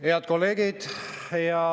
Head kolleegid!